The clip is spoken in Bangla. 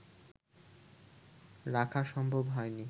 রাখা সম্ভব হয়নি